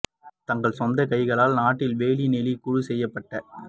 தங்கள் சொந்த கைகளால் நாட்டில் வேலி நெளி குழு செய்யப்பட்ட